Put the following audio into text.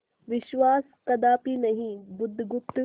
विश्वास कदापि नहीं बुधगुप्त